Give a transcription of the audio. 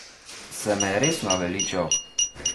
Se me je res naveličal?